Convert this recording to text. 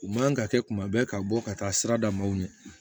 U man ka kɛ kuma bɛɛ ka bɔ ka taa sira damaw ɲɛ